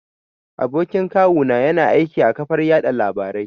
Abokin kawu na ya na aiki a ƙafar yaɗa labarai